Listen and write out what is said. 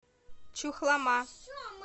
чухлома